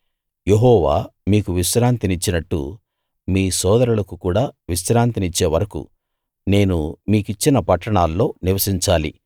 యెహోవా మీకు విశ్రాంతినిచ్చినట్టు మీ సోదరులకు కూడా విశ్రాంతినిచ్చే వరకూ నేను మీకిచ్చిన పట్టణాల్లో నివసించాలి